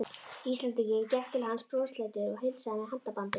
Íslendinginn, gekk til hans brosleitur og heilsaði með handabandi.